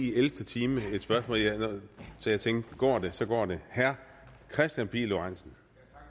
i ellevte time så jeg tænkte går det så går det herre kristian pihl lorentzen